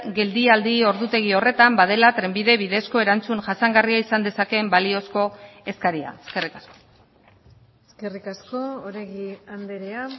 geldialdi ordutegi horretan badela trenbide bidezko erantzun jasangarria izan dezakeen baliozko eskaria eskerrik asko eskerrik asko oregi andrea